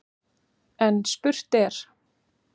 En spurt er: